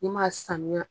I m'a sanuya